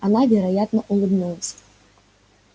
она вероятно улыбнулась